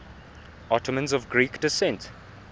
ottomans of greek descent